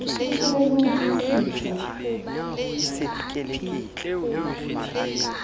o tseba le ho utlwisisa